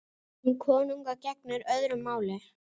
Um konunga gegnir öðru máli.